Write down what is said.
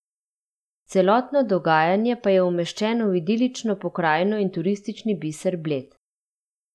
Celotno dogajanje pa je umeščeno v idilično pokrajino in turistični biser Bled.